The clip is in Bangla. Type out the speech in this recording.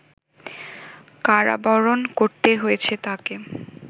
কারাবরণ করতে হয়েছে তাকে